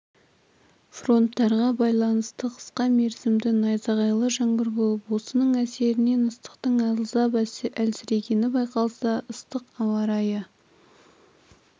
фронтарға байланысты қысқа мерзімді найзағайлы жаңбыр болып осының әсерінен ыстықтың аздап әлсірегені байқалса ыстық ауа-райы